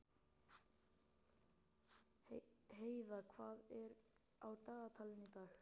Heida, hvað er á dagatalinu í dag?